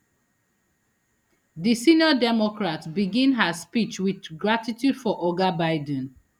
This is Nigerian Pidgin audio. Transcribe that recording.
di senior democrat begin her speech wit gratitude for oga biden